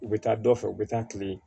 U bɛ taa dɔ fɛ u bɛ taa tile